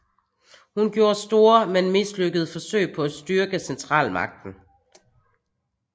Hun gjorde store men mislykkede forsøg på at styrke centralmagten